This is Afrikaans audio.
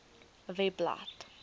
webblad